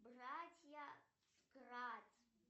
братья кратт